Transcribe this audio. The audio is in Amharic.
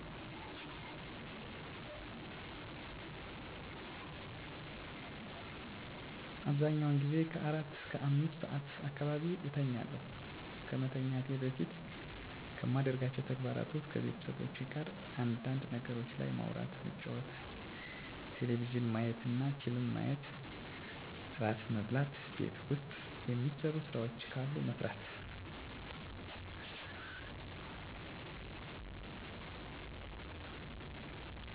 አብዛኛውን ጊዜ ከአራት እስከ አምስት ሰዓት አካባቢ እተኛለሁ። ከመተኛቴ በፊት ከማደርጋቸው ተግባራት ውስጥ ከቤተሰቦቼ ጋር አንዳንድ ነገሮች ላይ ማውራት መጫወት ቴሌቪዥን ማየትና ፊልም ማየት እራት መብላት ቤት ውስጥ የሚሰሩ ስራዎች ካሉ መስራት ለቀጣይ ቀን ለጠዋት የሚዘጋጅ ነገሮች ካሉ ማዘጋጀት ከጓደኞቼ ጋር ስልክ ማውራትና የፅሁፍ መልዕክት መለዋወጥ መንፈሳዊ ይዘት ያላቸውን መፃሀፍቶችን ማንበብ በመጨረሻ ፀሎት አድርጌ መተኛት ነው።